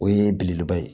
O ye belebeleba ye